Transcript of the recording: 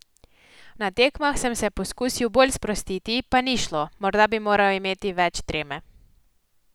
Na tekmah sem se poskusil bolj sprostiti, pa ni šlo, morda bi moral imeti več treme ...